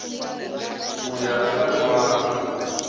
ku ya eka rin wana